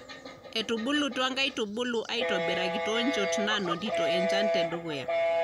Etubulutua nkaitubulu aitobiraki too nchot naanotito enchan te dukuya.